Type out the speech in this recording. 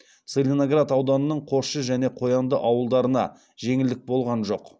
целиноград ауданының қосшы және қоянды ауылдарына жеңілдік болған жоқ